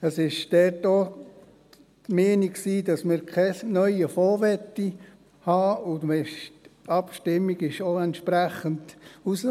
Es war dort auch die Meinung, dass man keinen neuen Fonds haben will, und auch die Abstimmung kam entsprechend heraus.